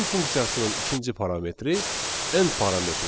Print funksiyasının ikinci parametri end parametrdir.